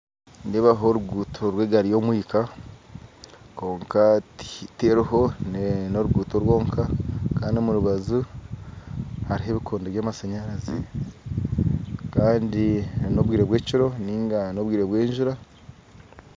Nindeebaho oruguuto rw'egaari y'omwinka kwonka teriho n'oruguuto rwonka kandi omu rubaju hariho ebikondo by'amashanyarazi kandi n'obwire bw'ekiro niga n'obwire bw'ejura